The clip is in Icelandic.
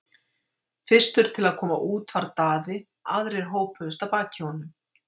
Fyrstur til að koma út var Daði, aðrir hópuðust að baki honum.